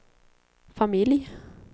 familj